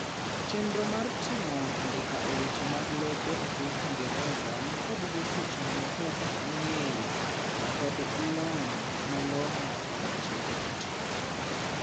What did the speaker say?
chernro mar timo andika e weche mag lope e piny ingereza nikod jotich manikod ng'eyo kod lony malong'o e weche dijital